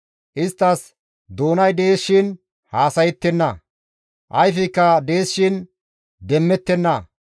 Isttas doonay dees shin haasayettenna; ayfeykka dees shin demmettenna.